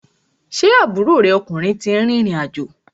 Ṣé aburo rẹ ọkùnrin ti rìrìn àjò?